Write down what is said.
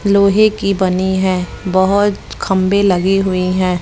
लोहे की बनी है बहोत खंबे लगे हुई हैं।